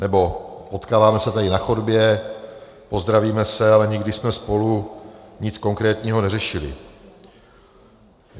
Nebo potkáváme se tady na chodbě, pozdravíme se, ale nikdy jsme spolu nic konkrétního neřešili.